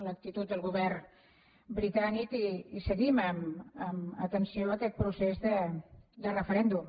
l’actitud del govern britànic i seguim amb atenció aquest procés de referèndum